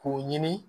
K'o ɲini